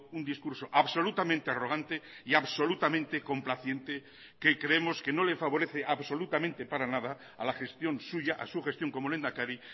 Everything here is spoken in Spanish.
un discurso absolutamente arrogante y absolutamente complaciente que creemos que no le favorece absolutamente para nada a la gestión suya a su gestión como lehendakari